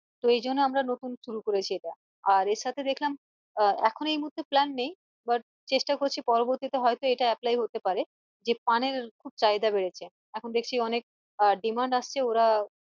তো এইজন্য আমরা নতুন শুরু করেছি এটা আর এর সাথে দেখলাম আহ এখন এই মুহূর্তে plan নেই বাট চেষ্টা করছি পরবর্তী তে হয়তো এটা apply হতে পারে যে পানের খুব চাহিদা বেড়েছে এখন দেখছি অনেক আহ demand আসছে ওরা